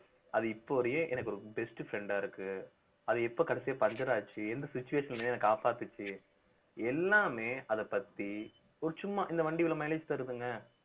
அது இப்ப வரையும் எனக்கு ஒரு best friend ஆ இருக்கு அது எப்ப கடைசியா puncture ஆச்சு எந்த situation லயும் என்ன காப்பாத்துச்சு எல்லாமே அதைப் பத்தி ஒரு சும்மா இந்த வண்டி இவ்வளவு mileage தருதுங்க